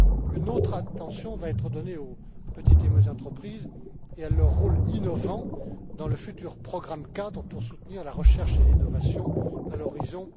Une autre attention sera donnée aux petites et moyennes entreprises et à leur rôle innovant dans le futur programme cadre pour soutenir la recherche et l'innovation, à l'horizon